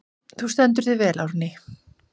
Þú stendur þig vel, Árný!